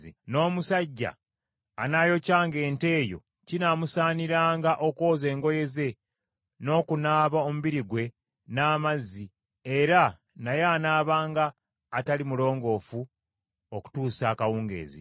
N’omusajja anaayokyanga ente eyo, kinaamusaaniranga okwoza engoye ze n’okunaaba omubiri gwe n’amazzi, era naye anaabanga atali mulongoofu okutuusa akawungeezi.